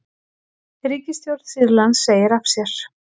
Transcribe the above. Ríkisstjórn Sýrlands segir af sér